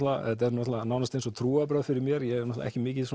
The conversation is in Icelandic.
þetta er nánast eins og trúarbrögð fyrir mér ég er ekki mikið